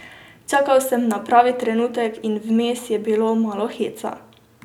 Čakal sem na pravi trenutek in vmes je bilo malo heca.